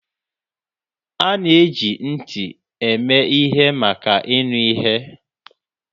A na-eji ntị eme ihe maka ịnụ ihe.